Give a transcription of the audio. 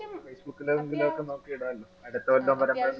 facebook ലോക്കെ നോക്കി ഇടലോ അടുത്തകൊല്ലം